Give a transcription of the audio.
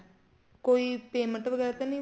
ਕੋਈ payment ਵਗੈਰਾ ਤਾਂ ਨਹੀਂ